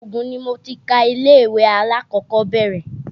Ògùn ni mo ti ka ilé-ìwé alákọ̀kọ́bẹ́rẹ́